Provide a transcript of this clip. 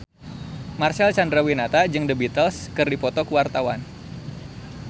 Marcel Chandrawinata jeung The Beatles keur dipoto ku wartawan